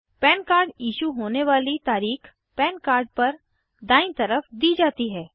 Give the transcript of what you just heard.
पन card issue होने वाली तारीख़ पन कार्ड पर दायीं तरफ दी जाती है